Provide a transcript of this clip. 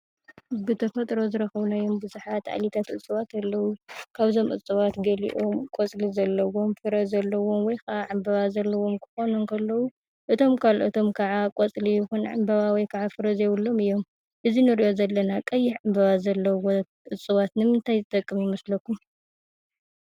ብተፈጥሮ ዝረኸብናዮም ብዙሓት እፅዋት ኣለዉ። ካብዞም እፅዋት ገሊኦም ቆፅሊ ዘለዎም፣ ፍረ ዘለዎም ወይ ከዓ ዕምበባ ዘለዎም ክኾኑ እንከለዉ እቶም ካልኦቶም ከዓ ቆፅሊ ይኹን ዕምበባ ወይ ከዓ ፍረ ዘይብሎም እዮም። እዚ ንሪኦ ዘለና ቀይሕ ዕምበባ ዘለዎ እፅዋት ንምንታይ ዝጠቅም ይመስለኩም?